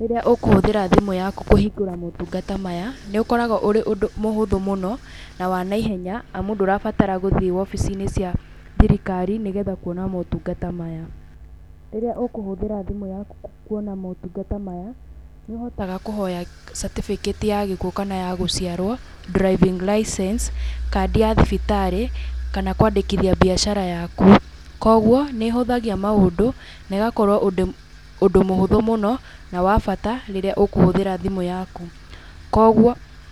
Rĩrĩ ũkũhũthĩra thimũ yaku kũhingũra motungata maya, nĩ ũkoragwo ũrĩ ũndũ mũhũthũ mũno na wanaihenya, amu ndũrabatara gũthiĩ obici-inĩ cia thirikari nĩgetha kuona motungata maya. Rĩrĩa ũkũhũthĩra thimũ yaku kuona motungata maya, nĩ ũhotaga kũhoya catĩbĩkĩti ya gĩkuũ kana gũciarwo, driving license, kandi ya thibitarĩ, kana kwandĩkithia mbiacara yaku, koguo nĩ ĩhũthagia maũndũ, negakorwo ũndũ ũndũ mũhũthũ mũno, na wa bata rĩrĩa ũkũhũthĩra thimũ yaku, koguo...